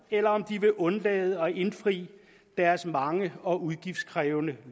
eller om de vil undlade at indfri deres mange og udgiftskrævende